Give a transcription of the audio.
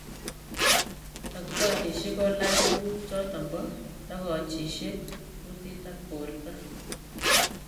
daktorishik kolach tunguk choton bo tokochishiek kutit ak borto